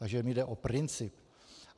Takže mně jde o princip.